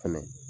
Fɛnɛ